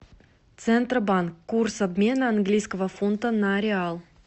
центробанк курс обмена английского фунта на реал